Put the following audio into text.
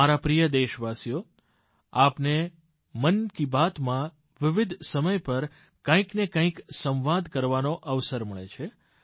મારા પ્રિય દેશવાસીઓ આપને મન કી બાતમાં વિવિધ સમય પર કંઈકને કંઈક સંવાદ કરવાનો અવસર મળે છે